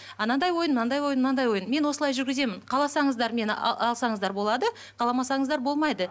анадай ойын мынандай ойын мынандай ойын мен осылай жүргіземін қаласаңыздар мені алсаңыздар болады қаламасаңыздар болмайды